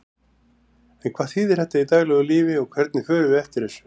En hvað þýðir þetta í daglegu lífi og hvernig förum við eftir þessu?